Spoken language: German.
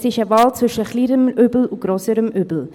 Es ist eine Wahl zwischen kleinerem und grösserem Übel.